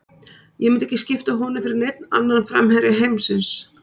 Ég myndi ekki skipta honum fyrir neinn annan framherja heimsins.